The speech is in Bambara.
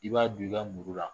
I b'a don i ka muru la